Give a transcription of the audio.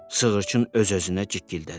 Sığırçın öz-özünə cikgildədi.